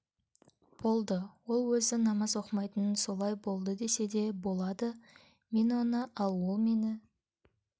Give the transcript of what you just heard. болды ол өзі намаз оқымайтын солай болды десе де болады мен оны ал ол мені